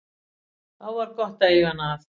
Þá var gott að eiga hana að.